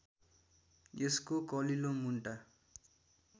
यसको कलिलो मुन्टा